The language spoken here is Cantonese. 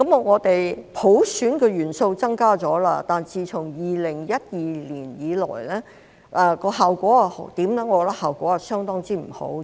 我們普選的元素增加了，但自2012年以來的效果如何呢？